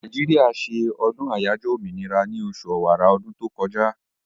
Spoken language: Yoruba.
Nàìjíríà se ọdún àyájọ́ òmìnira ní osù ọ̀wàrà ọdún tó kọjá